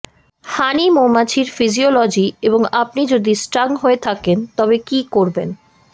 হানি মৌমাছির ফিজিওলজি এবং আপনি যদি স্টং হয়ে থাকেন তবে কি করবেন